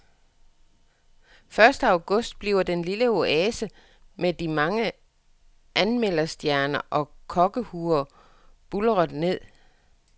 Første august bliver den lille oase med de mange anmelderstjerner og kokkehuer buldret ned.